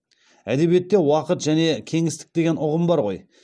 әдебиетте уақыт және кеңістік деген ұғым бар ғой